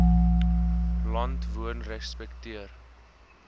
land woon respekteer